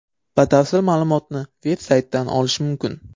Batafsil ma’lumotni veb-saytdan olish mumkin.